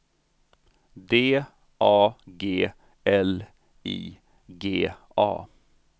D A G L I G A